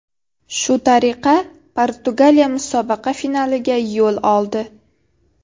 Shu tariqa Portugaliya musobaqa finaliga yo‘l oldi.